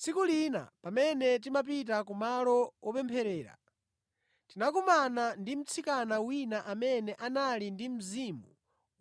Tsiku lina pamene timapita kumalo wopempherera, tinakumana ndi mtsikana wina amene anali ndi mzimu